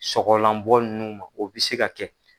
Sɔgɔlanbɔ ninnuu ma o bɛ se ka kɛ